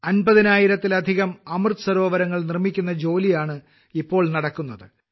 അമ്പതിനായിരത്തിലധികം അമൃത് സരോവരങ്ങൾ നിർമ്മിക്കുന്ന ജോലിയാണ് ഇപ്പോൾ നടക്കുന്നത്